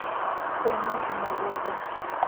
Kũramata Mũgũnda